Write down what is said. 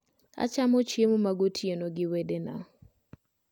Achamo chiemo magotieno gi wedena